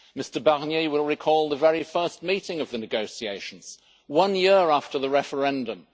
Mr Barnier, you will recall the very first meeting of the negotiations, one year after the referendum.